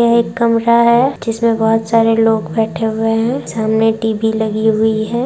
यह एक कमरा है जिसमें बहुत सारे लोग बैठे हुई हैं सामने टी.वी. लगी हुई है